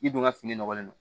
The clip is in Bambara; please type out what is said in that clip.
I dun ka fini nɔgɔlen don